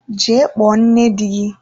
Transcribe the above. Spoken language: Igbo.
Jee kpọọ nne di gị!